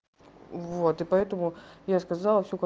вот и поэтому я сказала всё как